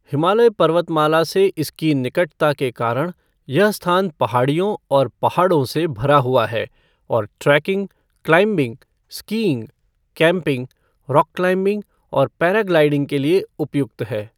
हिमालय पर्वतमाला से इसकी निकटता के कारण, यह स्थान पहाड़ियों और पहाड़ों से भरा हुआ है और trekking, climbing, skiing, camping, rock climbing और पैराग्लाइडिंग के लिए उपयुक्त है।